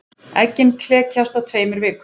Eggin klekjast á tveimur vikum.